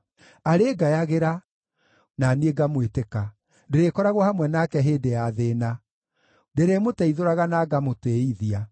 Arĩngayagĩra, na niĩ ngamwĩtĩka; ndĩrĩkoragwo hamwe nake hĩndĩ ya thĩĩna, ndĩrĩmũteithũraga na ngamũtĩĩithia.